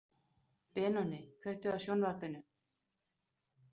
Benoný, kveiktu á sjónvarpinu.